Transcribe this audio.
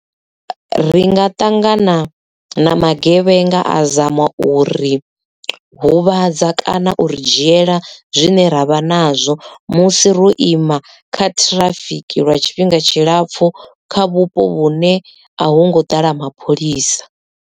Ri nga ṱangana na magevhenga a zama uri huvhadza kana u ri dzhiela zwine ravha nazwo musi ro ima kha ṱhirafiki lwa tshifhinga tshilapfhu kha vhupo vhune a hu ngo ḓala mapholisa.